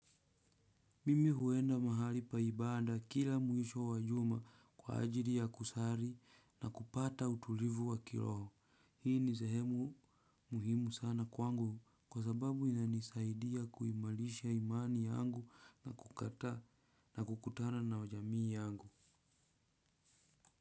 Mimi huenda mahali paibada kila mwisho wajuma kwa ajili ya kusali na kupata utulivu wa kiroho. Hii ni sehemu muhimu sana kwangu kwa sababu inanisaidia kuimarisha imani yangu na kukataa na kukutana na jamii yangu.